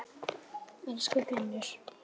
Elsku Finnur.